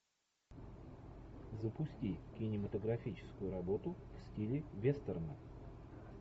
запусти кинематографическую работу в стиле вестерна